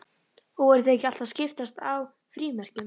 Og voru þeir ekki alltaf að skiptast á frímerkjum?